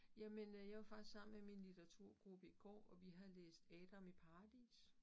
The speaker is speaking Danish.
Jamen øh jeg var faktisk sammen med min litteraturgruppe i går, og vi har læst Adam i Paradis